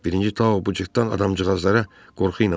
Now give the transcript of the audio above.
Birinci Tao bu cütdən adamcığazlara qorxu ilə baxdı.